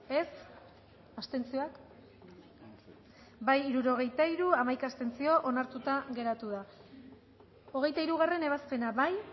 dezakegu bozketaren emaitza onako izan da hirurogeita hamalau eman dugu bozka hirurogeita hiru boto aldekoa once contra onartuta geratu da hogeita hirugarrena ebazpena bozkatu